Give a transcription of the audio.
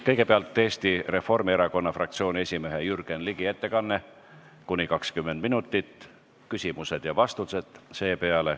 Kõigepealt on Eesti Reformierakonna fraktsiooni esimehe Jürgen Ligi ettekanne , seepeale küsimused ja vastused .